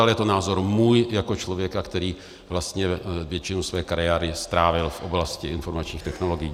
Ale je to názor můj jako člověka, který vlastně většinu své kariéry strávil v oblasti informačních technologií.